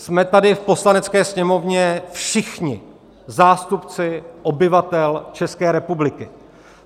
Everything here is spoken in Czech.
Jsme tady v Poslanecké sněmovně všichni zástupci obyvatel České republiky.